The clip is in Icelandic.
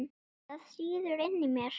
Það sýður inni í mér.